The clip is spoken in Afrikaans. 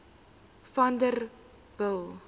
vanderbijl